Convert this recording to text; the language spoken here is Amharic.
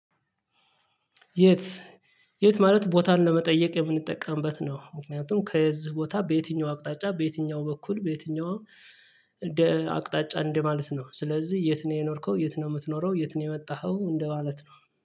የት? የት ማለት ቦታን ለመጠየቅ የምንጠቀምበት ነው ምክንያቱም ከዚህ ቦታ በየትኛው አቅጣጫ በየትኛው በኩል በየትኛው አቅጣጫ እንደማለት ነው። ስለዚህ የት ነው የኖርከው? የት ነው የምትኖረው? የት ነው የወጣኸው? እንደማለት ነው